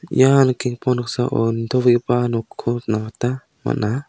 ian nikenggipa noksao nitobegipa nokko nikna gita man·a.